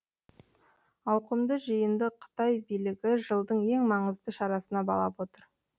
ауқымды жиынды қытай билігі жылдың ең маңызды шарасына балап отыр